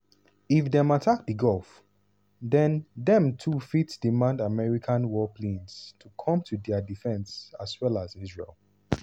if dem attack di gulf den dem too fit demand american warplanes to come to dia defence as well as israel.